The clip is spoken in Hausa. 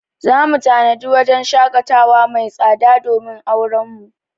Za mu tanadi wajen shaƙatawa mai tsada domin auren mu.